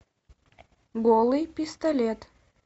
голый пистолет